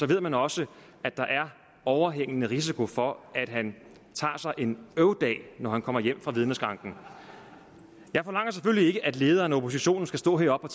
ved man også at der er overhængende risiko for at han tager sig en øvdag når han kommer hjem fra vidneskranken jeg forlanger selvfølgelig ikke at lederen af oppositionen skal stå heroppe